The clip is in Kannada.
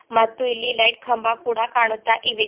ಮತ್ತು ಇಲ್ಲಿ ಲೈಟ್ ಕಂಬ ಕೂಡ ಕಾಣುತ್ತ ಇವೆ.